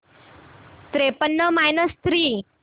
त्रेपन्न minus three